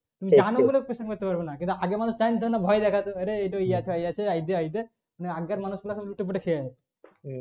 জানি বলে questions জানি বলে জিজ্ঞাসা করতে পারবে না আগে মানুষ জানতোনা ভয় দেখাতো ওরে ওটা ই আছে এই দে ওই দে আগেকার মানুষ দের কে লুটেপুটে খেয়েছে